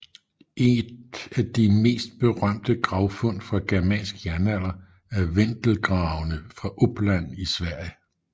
Et af de mest berømte gravfund fra germansk jernalder er Vendelgravene fra Uppland i Sverige